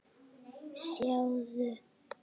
Sjáðu